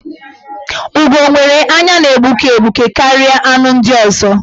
Ugo nwere anya na-egbuke egbuke karịa anụ ndị ọzọ.